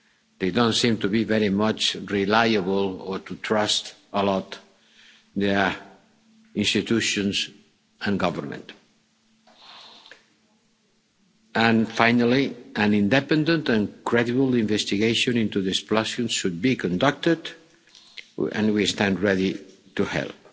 in need. They do not seem to rely very much on or trust a lot their institutions and government. And finally, an independent and credible investigation into the explosion should be conducted and we stand ready